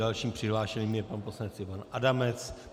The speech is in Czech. Dalším přihlášeným je pan poslanec Ivan Adamec.